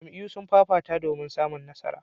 Jam'iyyu sun fafata domin samun nasara.